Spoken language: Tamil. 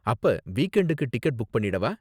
அப்ப வீக்எண்டுக்கு டிக்கெட் புக் பண்ணிடவா?